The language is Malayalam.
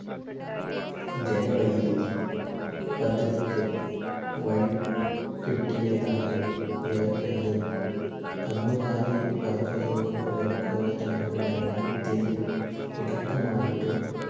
ജലവൈദ്യുതി പദ്ധതിക്ക് വഴി കിട്ടിയതായും യ യാലും കന്നുകാലി വർഗദ വർഗോദ പരണ ത്തിന് തുടക്കമായിട്ടോ